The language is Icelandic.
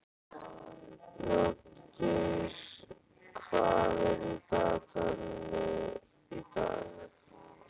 Játgeir, hvað er í dagatalinu í dag?